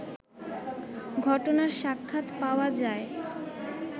ঘটনার সাক্ষাৎ পাওয়া যায়